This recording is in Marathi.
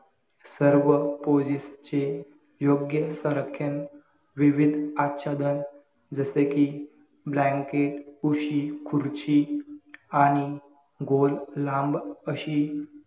सर्व poses चे योग्य सर व्याख्यान विविध आच्छधन जसे कि blanket, उशी, खुर्ची आणि गोल लांब अशी